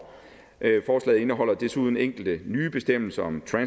forslaget indeholder desuden enkelte nye bestemmelser om